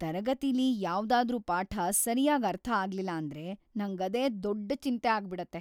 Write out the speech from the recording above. ತರಗತಿಲಿ ಯಾವ್ದಾದ್ರೂ ಪಾಠ ಸರ್ಯಾಗ್ ಅರ್ಥ ಆಗ್ಲಿಲ್ಲ ಅಂದ್ರೆ ನಂಗದೇ ದೊಡ್ಡ್‌ ಚಿಂತೆ ಆಗ್ಬಿಡತ್ತೆ.